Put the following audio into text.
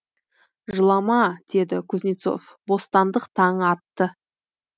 жылама деді кузнецов бостандық таңы атты